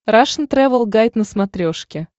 рашн тревел гайд на смотрешке